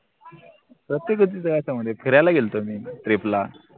प्रतिकृती फिरायला गेल्तो मी trip ला